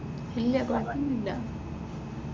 ഇല്ല കുഴപ്പൊന്നുമില്.